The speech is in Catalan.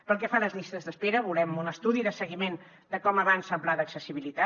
pel que fa a les llistes d’espera volem un estudi de seguiment de com avança el pla d’accessibilitat